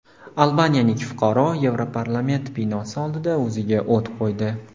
Albaniyalik fuqaro Yevroparlament binosi oldida o‘ziga o‘t qo‘ydi.